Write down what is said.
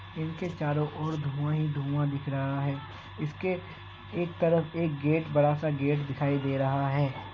इनके चारो और धुआं ही धुआं दिख रहा है। इसके एक तरफ एक गेट बड़ा-सा गेट दिखाई दे रहा है।